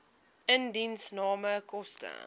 indiensname koste